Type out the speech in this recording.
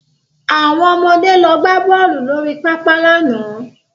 Àwọn ọmọde lọ gbá bọ́ọ̀lù lórí pápá lánàá